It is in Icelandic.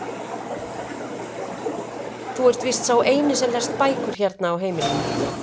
Þú ert víst sá eini sem lest bækur hérna á heimilinu.